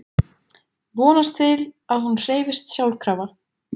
Vonast til að hún hreyfist sjálfkrafa.